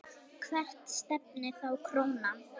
Hvert stefnir þá krónan?